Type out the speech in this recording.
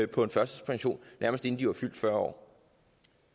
på en førtidspension nærmest inden de var fyldt fyrre